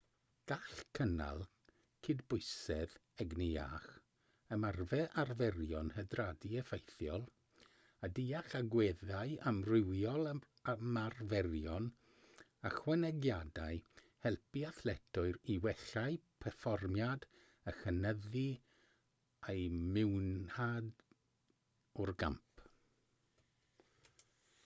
gall cynnal cydbwysedd egni iach ymarfer arferion hydradu effeithiol a deall agweddau amrywiol ymarferion ychwanegiadau helpu athletwyr i wella'u perfformiad a chynyddu eu mwynhad o'r gamp